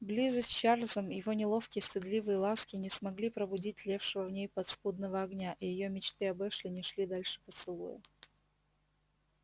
близость с чарльзом его неловкие стыдливые ласки не смогли пробудить тлевшего в ней подспудного огня и её мечты об эшли не шли дальше поцелуя